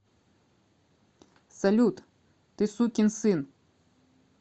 салют ты сукин сын